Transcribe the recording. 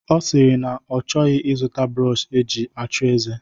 Ọ sịrị na ọ chọghị ịzụta brọọshi eji achụ ize.